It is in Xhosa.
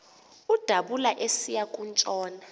udabula esiya kutshona